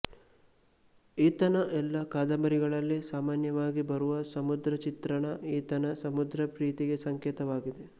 ಈತನ ಎಲ್ಲ ಕಾದಂಬರಿಗಳಲ್ಲಿ ಸಾಮಾನ್ಯವಾಗಿ ಬರುವ ಸಮುದ್ರ ಚಿತ್ರಣ ಈತನ ಸಮುದ್ರ ಪ್ರೀತಿಗೆ ಸಂಕೇತವಾಗಿದೆ